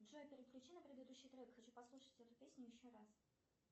джой переключи на предыдущий трек хочу послушать эту песню еще раз